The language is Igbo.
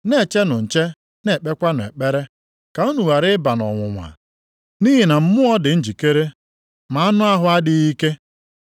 Na-echenụ nche, na-ekpekwa ekpere, ka unu ghara ịba nʼọnwụnwa. + 26:41 Maọbụ, nwalee Nʼihi na mmụọ dị na njikere ma anụ ahụ adịghị ike.”